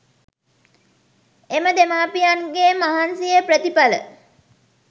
එම දෙමාපියන්ගේ මහන්සියේ ප්‍රතිඵල